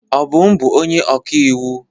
Obum bụ onye ọkaiwu.